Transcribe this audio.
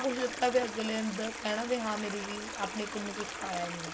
ਕੁੱਛ ਦਿੱਤਾ ਤੇ ਫ਼ੇਰ ਅੱਗਲੇ ਨੂੰ ਕਹਿਣਾ ਵੀ ਹਾਂ ਮੇਰੀ ਆਪਣੀ ਕੁੜੀ ਨੂੰ ਕੁੱਛ ਪਾਇਆ ਹੀ ਨਹੀਂ ਹੈ